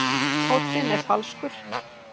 Tónninn er falskur.